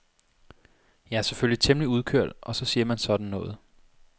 Jeg er selvfølgelig temmelig udkørt og så siger man sådan noget.